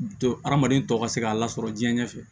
Don hadamaden tɔw ka se k'a lasɔrɔ jiɲɛ ɲɛfɛ